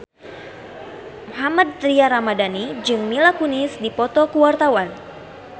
Mohammad Tria Ramadhani jeung Mila Kunis keur dipoto ku wartawan